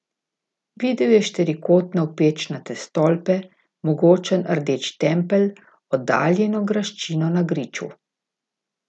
Videl je štirikotne opečnate stolpe, mogočen rdeč tempelj, oddaljeno graščino na griču.